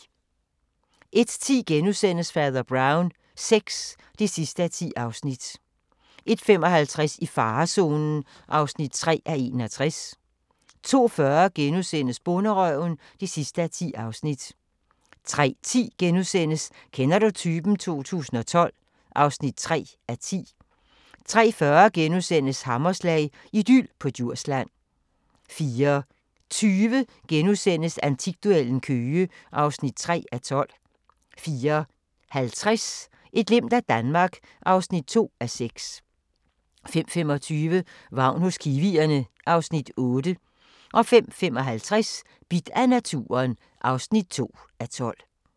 01:10: Fader Brown VI (10:10)* 01:55: I farezonen (3:61) 02:40: Bonderøven (10:10)* 03:10: Kender du typen? 2012 (3:10)* 03:40: Hammerslag – idyl på Djursland * 04:20: Antikduellen – Køge (3:12)* 04:50: Et glimt af Danmark (2:6) 05:25: Vagn hos kiwierne (Afs. 8) 05:55: Bidt af naturen (2:12)